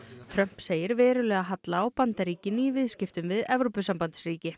Trump segir verulega halla á Bandaríkin í viðskiptum við Evrópusambandsríki